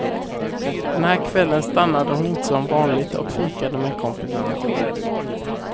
Den här kvällen stannade hon inte som vanligt och fikade med kompisarna.